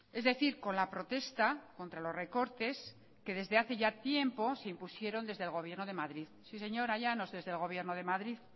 es decir con la protesta contra los recortes que desde hace ya tiempo se impusieron desde el gobierno de madrid sí señora llanos desde el gobierno de madrid